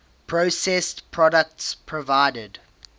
processed products provided